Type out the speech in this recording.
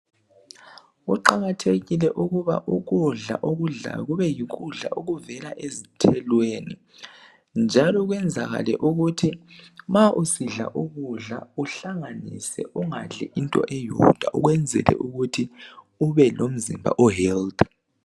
Kuqakathekile ukuba ukudla okudlayo kube yikudla okuvela ezithelweni njalo kwenzakale ukuthi ma usidla ukudla uhlanganise ungadli into eyodwa ukwenzela ukuthi ube lomzimba o Health.